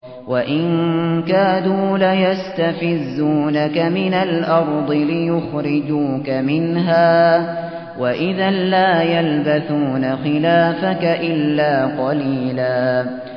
وَإِن كَادُوا لَيَسْتَفِزُّونَكَ مِنَ الْأَرْضِ لِيُخْرِجُوكَ مِنْهَا ۖ وَإِذًا لَّا يَلْبَثُونَ خِلَافَكَ إِلَّا قَلِيلًا